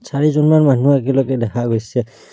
চাৰিজনমান মানুহ একেলগে দেখা গৈছে।